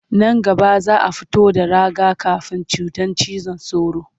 Nan gaba za a fito da raga-kafin cutar cizon sauro